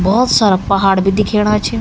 भोत सारा पहाड़ भी दिखेणा छ।